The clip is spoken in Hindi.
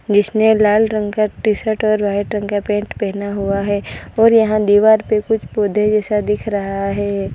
जिसने लाल रंग का टी शर्ट और व्हाइट रंग का पैंट पहना हुआ है और यहां दीवार पे कुछ पौधे जैसा दिख रहा है।